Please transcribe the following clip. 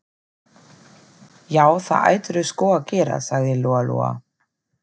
Já, það ættirðu sko að gera, sagði Lóa-Lóa.